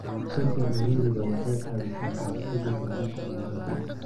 Ka hortagga ciriiriga waxay caawisaa ka hortagga gudbinta cudurrada.